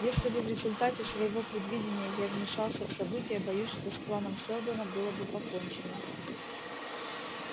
если бы в результате своего предвидения я вмешался в события боюсь что с планом сэлдона было бы покончено